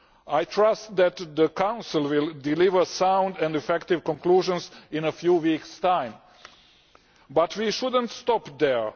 I trust that the Council will deliver sound and effective conclusions in a few weeks' time. But we should not stop there.